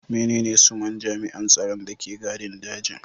Menene sunan jami'an tsaron da ke gadin dajin?